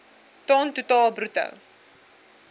ton totaal bruto